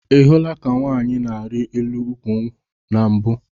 Ị hụla ka nwaanyị na-arị elu nkwụ na mbụ?